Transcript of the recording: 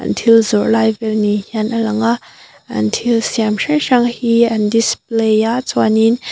thil zawrh lai vêl ni hian a lang a an thil siam hrang hrang hi an display a chuanin.